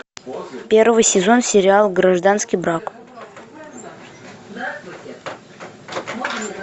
первый сезон сериал гражданский брак